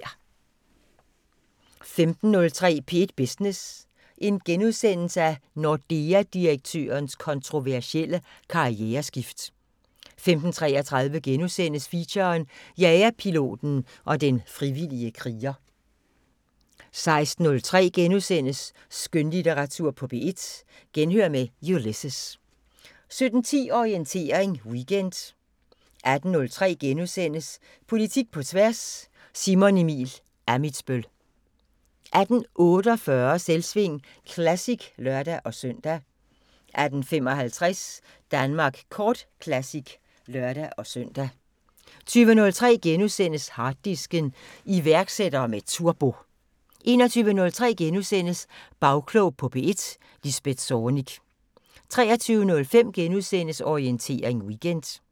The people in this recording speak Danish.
15:03: P1 Business: Nordea-direktørens kontroversielle karriereskift * 15:33: Feature: Jagerpiloten og den frivillige kriger * 16:03: Skønlitteratur på P1: Genhør med Ulysses * 17:10: Orientering Weekend 18:03: Politik på tværs: Simon Emil Ammitzbøll * 18:48: Selvsving Classic (lør-søn) 18:55: Danmark Kort Classic (lør-søn) 20:03: Harddisken: Iværksættere med turbo * 21:03: Bagklog på P1: Lisbeth Zornig * 23:05: Orientering Weekend *